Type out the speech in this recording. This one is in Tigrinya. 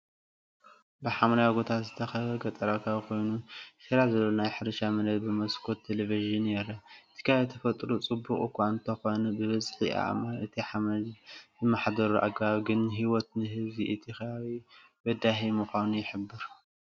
ብሓምላይ ጎቦታት ዝተኸበበ ገጠራዊ ከባቢ ኮይኑ፡ ቴራስ ዘለዎ ናይ ሕርሻ መሬት ብመስኮት ቴሌቪዥን ይረአ። እቲ ከባቢ ተፈጥሮኡ ጽቡቕ እኳ እንተዀነ፡ ብብዝሒ ኣእማንን እቲ ሓመድ ዚመሓደረሉ ኣገባብን ግን ህይወት ንህዝቢ እቲ ኸባቢ በዳሂ ምዃኑይሕብር።